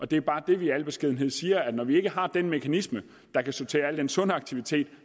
det er bare det vi i al beskedenhed siger altså at når vi ikke har den mekanisme der kan sortere al den sunde aktivitet